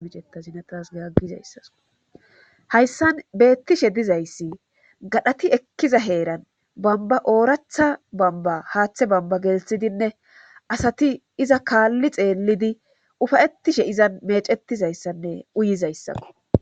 Iceazinaasaizayssashayssan beettishe dizayssi gadhati ekkiza heeran bamba ooratha bamba haaththe bamba gelthidinne asati iza kaalli xeellidi ufayettishe iza mecettizayssanne uyizayssako.